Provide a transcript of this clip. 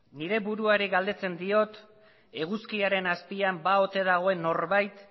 nire buruari galdetzen diot eguzkiaren azpian ba ote dagoen norbait